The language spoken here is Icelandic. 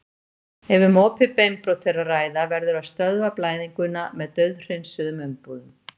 Ef um opið beinbrot er að ræða verður að stöðva blæðinguna með dauðhreinsuðum umbúðum.